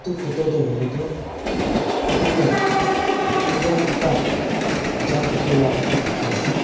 photo tae huilae tu edu tu prodram ekta jai thakila ekta dikhiase.